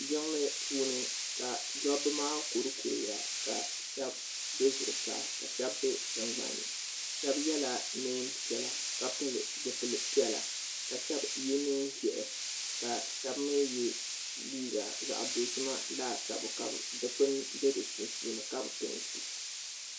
Jiŋli puuni ka dobbu maa kurikuriya ka shɛba be zuɣusaa ka shɛba be tingbani shɛba yela neen piɛla ka shɛba ye neen ʒehi ka shɛba mi ye liiga zaɣ' dozima laasabu ka do'kpuna be di sunsuuni ka bi peenti.